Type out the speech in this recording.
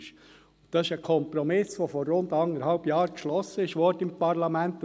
Dies ist ein Kompromiss, der vor rund anderthalb Jahren im Parlament beschlossen wurde.